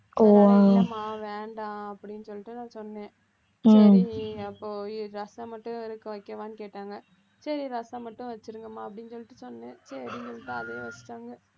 இல்லம்மா வேண்டாம் அப்படின்னு சொல்லிட்டு நான் சொன்னேன், சரி அப்போ ரசம் மட்டும் வைக்கவான்னு கேட்டாங்க சரி ரசம் மட்டும் வச்சுருங்கம்மா அப்படின்னு சொல்லிட்டு சொன்னேன் சரின்னு சொல்லிட்டு அதையே வச்சுட்டாங்க